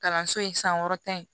Kalanso in san wɔɔrɔ in